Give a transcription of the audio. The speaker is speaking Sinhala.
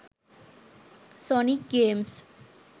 sonic games